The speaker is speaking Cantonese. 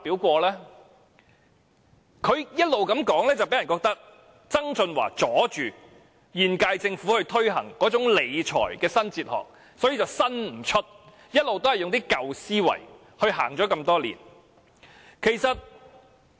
她這種說法，令人以為曾俊華妨礙了現屆政府推行"理財新哲學"，於是未能創新，多年來一直沿用舊思維理財。